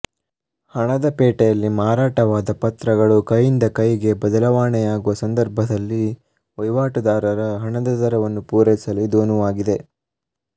ಹಣದ ಪೇಟೆಯಲ್ಲಿ ಮಾರಾಟವಾದ ಪತ್ರಗಳು ಕೈಯಿಂದ ಕೈಗೆ ಬದಲಾವಣೆಯಾಗುವ ಸಂದರ್ಭದಲ್ಲಿ ವಹಿವಾಟುದಾರರ ಹಣದ ದರವನ್ನು ಪೂರೈಸಲು ಇದು ಅನುವಾಗಿದೆ